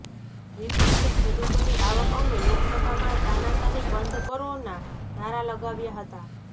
વિપક્ષે ખેડૂતોની આવક અંગે લોકસભામાં તાનાશાહી બંધ કરોના નારા લગાવ્યા હતા